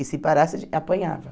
E se parasse, apanhava.